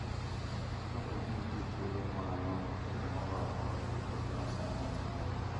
Kapo ni nitie thuolo ma nono e moro amora kuom ute ma sani nitie,